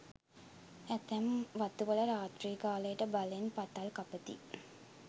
ඇතැම් වතුවල රාත්‍රී කාලයට බලෙන් පතල් කපති.